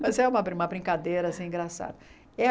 Mas é uma brin uma brincadeira assim engraçada.